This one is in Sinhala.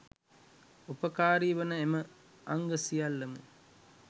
උපකාරී වන එම අංග සියල්ල ම